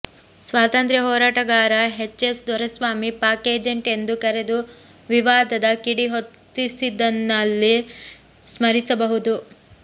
ಸ್ವಾತಂತ್ರ್ಯ ಹೋರಾಟಗಾರ H S Doreswamy Pak agent ಎಂದು ಕರೆದು ವಿವಾದದ ಕಿಡಿ ಹೊತ್ತಿಸಿದ್ದನ್ನ ಇಲ್ಲಿ ಸ್ಮರಿಸಬಹುದು